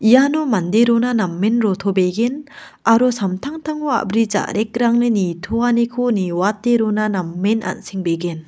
iano mande rona namen rotobegen aro samtangtango a·bri ja·rekrangni nitoaniko niwate rona namen an·sengbegen.